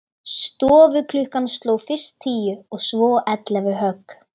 Stofuklukkan sló fyrst tíu og svo ellefu högg.